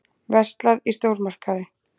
Verslað í stórmarkaði.